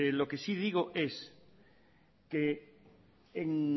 lo que si digo es que en